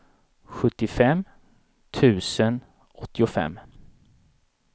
sjuttiofem tusen åttiofem